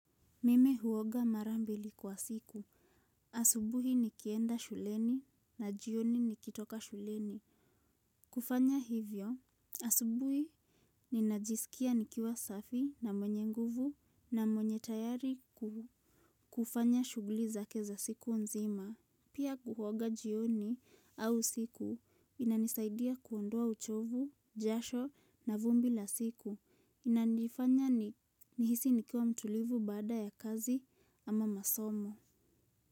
Mimi huoga mara mbili kwa siku. Asubuhi nikienda shuleni, na jioni nikitoka shuleni. Kufanya hivyo, asubuhi ninajisikia nikiwa safi na mwenye nguvu na mwenye tayari. Kufanya shughuli zake za siku nzima. Pia kuoga jioni au usiku inanisaidia kuondoa uchovu, jasho na vumbi la siku. Inandifanya nihisi nikiwa mtulivu baada ya kazi ama masomo.